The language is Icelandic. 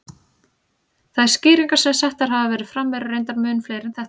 Þær skýringar sem settar hafa verið fram eru reyndar mun fleiri en þetta.